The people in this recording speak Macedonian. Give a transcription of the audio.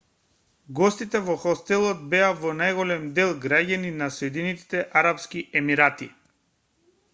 гостите во хостелот беа во најголем дел граѓани на соединетите арапски емирати